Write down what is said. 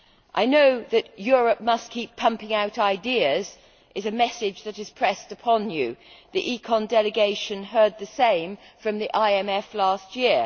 I know that Europe must keep pumping out ideas' is a message which is pressed upon you. The ECON delegation heard the same from the IMF last year.